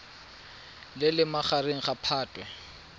le leng magareng ga phatwe